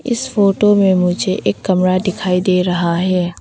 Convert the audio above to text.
इस फोटो में मुझे एक कमरा दिखाई दे रहा है।